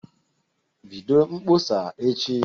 Bido mkpọsa echi